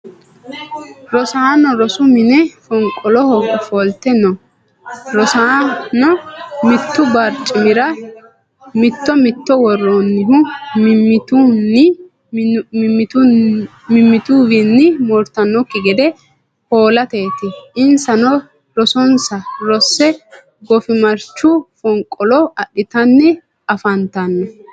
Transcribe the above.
Rosaano rosu mine fonqoloho ofolte no. Rosaano mitu barcimira mitto mitto woroonnihu mimituwiinni moortanoki gede hoolateeti. Insano rosonsa rose goofimarchu fonqolo adhitanni afantano.